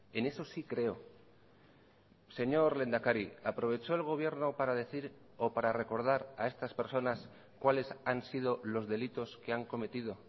en eso sí creo señor lehendakari aprovechó el gobierno para decir o para recordar a estas personas cuales han sido los delitos que han cometido